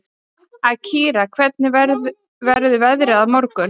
Akira, hvernig verður veðrið á morgun?